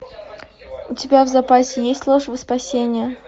у тебя в запасе есть ложь во спасение